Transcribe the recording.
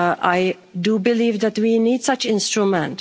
I do believe that we need such an instrument.